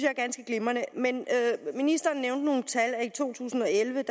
er ganske glimrende men ministeren i to tusind og elleve